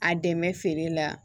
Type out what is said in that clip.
A dɛmɛ feere la